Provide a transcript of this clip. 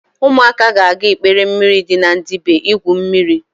Ụmụaka ga-aga ikpere mmiri dị na Ndibe igwu mmiri.